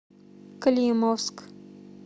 климовск